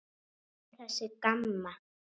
Hver er þessi Gamma?